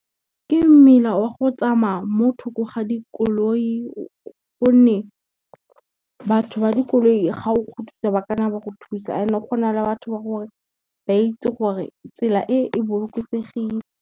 Ke mmila wa go tsamaya mo tho lko ga dikoloi gonne, batho ba dikoloi ga o kgothoswa ba ka nna ba go thusa ene gona le batho ba gore ba itse gore tsela e e bolokesegile.